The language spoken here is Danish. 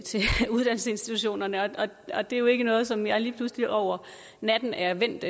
uddannelsesinstitutionerne og det er jo ikke noget som jeg lige pludselig over natten er vendt